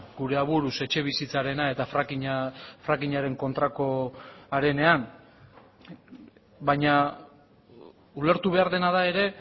gure aburuz etxebizitzarena eta fracking aren kontrakoarenean baina ulertu behar dena da ere